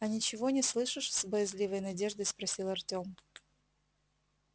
а ничего не слышишь с боязливой надеждой спросил артём